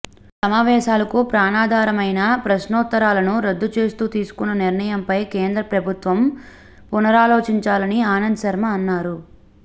సమావేశాలకు ప్రాణాధారమైన ప్రశ్నోత్తరాలను రద్దు చేస్తూ తీసుకున్న నిర్ణయంపై కేంద్ర ప్రభుత్వం పునరాలోచించాలని ఆనంద్ శర్మ అన్నారు